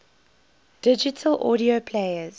digital audio players